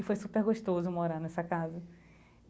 E foi super gostoso morar nessa casa.